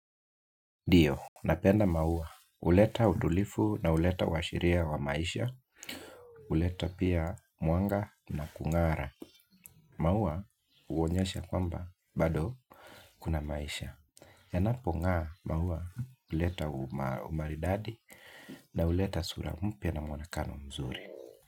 Dio, napenda maua, uleta udulifu na uleta washiria wa maisha, uleta pia mwanga na kung'ara. Maua uonyesha kwamba, bado kuna maisha. Yanapong'aa maua uleta umaridadi na uleta sura mpia na mwonakano mzuri.